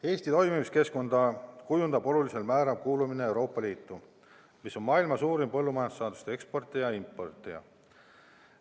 Eesti toimimiskeskkonda kujundab olulisel määral kuulumine Euroopa Liitu, mis on maailma suurim põllumajandussaaduste eksportija ja importija.